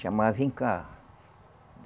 Chamar, vem cá.